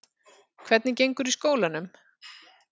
Hvernig gengur í skólanum?